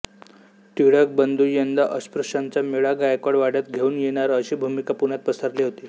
टिळक बंधू यंदा अस्पृश्यांचा मेळा गायकवाड वाड्यात घेऊन येणार अशी भुमका पुण्यात पसरली होती